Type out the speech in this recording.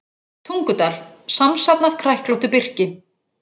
Tungudal, samsafn af kræklóttu birki.